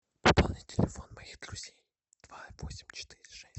пополни телефон моих друзей два восемь четыре шесть